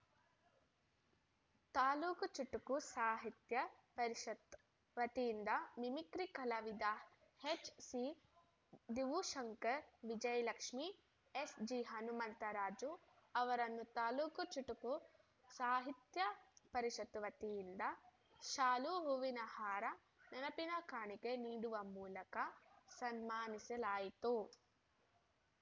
ತಾಲೂಕು ಚುಟುಕು ಸಾಹಿತ್ಯ ಪರಿಷತ್ತು ವತಿಯಿಂದ ಮಿಮಿಕ್ರಿ ಕಲಾವಿದ ಎಚ್‌ಸಿ ದೀವುಶಂಕರ್‌ ವಿಜಯಲಕ್ಷ್ಮೀ ಎಸ್‌ಜಿ ಹನುಮಂತರಾಜು ಅವರನ್ನು ತಾಲೂಕು ಚುಟುಕು ಸಾಹಿತ್ಯ ಪರಿಷತ್ತು ವತಿಯಿಂದ ಶಾಲು ಹೂವಿನ ಹಾರ ನೆನಪಿನ ಕಾಣಿಕೆ ನೀಡುವ ಮೂಲಕ ಸನ್ಮಾನಿಸಲಾಯಿತು